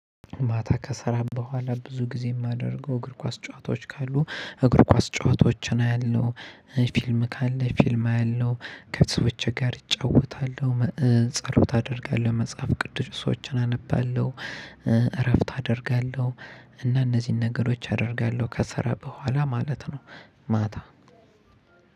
ማታ ከሰራ በኋላ ብዙ ጊዜ የማደርገው እግር ኳስ ጨዋታዎች ካሉ እግር ኳስ ጨዋታዎችን አያለሁ ፊልም ካለ ፊልም አያለሁ ከሰዎች ጋር እጫወታለሁ ጸሎት አደርጋለሁ መጽሐፍ ቅዱስ ሰዎችን አነባለሁ። እረፍት አደርጋለሁ። እና እነዚህን ነገሮች አደርጋለሁ ከስራ በኋላ ማለት ነው። ማታ